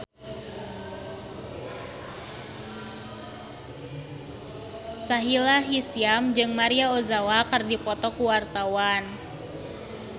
Sahila Hisyam jeung Maria Ozawa keur dipoto ku wartawan